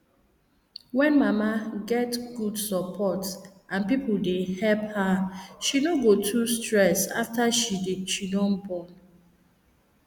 when mama get good support and people dey help her she no go too stress after she don born